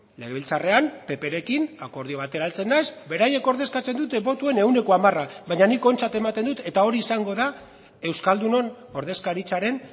legebiltzarrean pprekin akordio batera heltzen naiz beraiek ordezkatzen duten botoen ehuneko hamara baina nik ontzat ematen dut eta hori izango da euskaldunon ordezkaritzaren